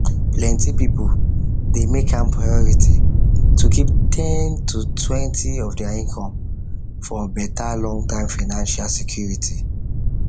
plenty people dey make am priority to keep ten totwentyof their income for better longterm financial security